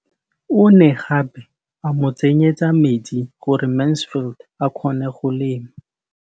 O ne gape a mo tsenyetsa metsi gore Mansfield a kgone go lema.